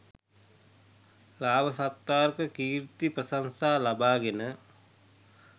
ලාභ සත්කාර කීර්ති ප්‍රශංසා ලබාගෙන